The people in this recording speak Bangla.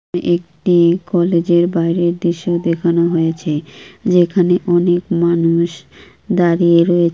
এ-একটি কলেজের বাইরের দৃশ্য দেখানো হয়েছে যেখানে অনেক মানুষ দাঁড়িয়ে রয়ে--